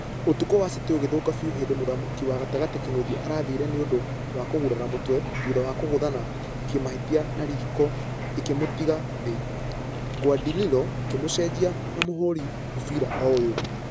Ũtuko wa city ũgĩthũka biũ hĩndĩ mũthaki wa gatagatĩ kinuthia arathire nĩũndũ wa kũgurara mũtwe thutha wa kũgũthana kĩmahĩtia na riko ĩkĩmũtiga thĩ . Guardiola ĩkĩmũcejania na mũhũri mũbira oyoo .